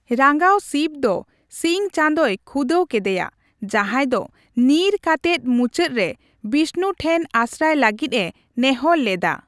ᱨᱟᱸᱜᱟᱣ ᱥᱤᱵᱽ ᱫᱚ ᱥᱤᱧ ᱪᱟᱸᱫᱳᱭ ᱠᱷᱩᱫᱟᱣ ᱠᱮᱫᱮᱭᱟ, ᱡᱟᱦᱟᱸᱭ ᱫᱚ ᱧᱤᱨ ᱠᱟᱛᱮᱫ ᱢᱩᱪᱟᱹᱫ ᱨᱮ ᱵᱤᱥᱱᱩ ᱴᱷᱮᱱ ᱟᱥᱨᱟᱭ ᱞᱟᱹᱜᱤᱫᱼᱮ ᱱᱮᱦᱚᱸᱨ ᱞᱮᱫᱟ ᱾